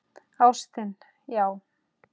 Ástin, já!